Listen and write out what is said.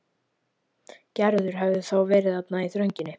Gerður hafði þá verið þarna í þrönginni.